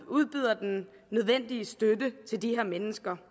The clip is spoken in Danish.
udbyder den nødvendige støtte til de her mennesker